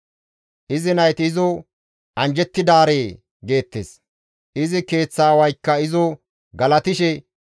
Izi nayti izo, «Anjjettidaree» geettes; izi keeththa aawaykka izo galatishe,